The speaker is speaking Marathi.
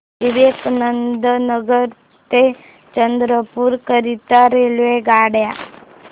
विवेकानंद नगर ते चंद्रपूर करीता रेल्वेगाड्या